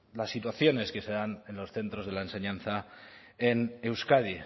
las situaciones que se dan en los centros de la enseñanza en euskadi